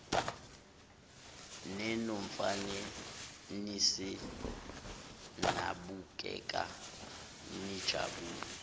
ninomfaniseni nabukeka nijabule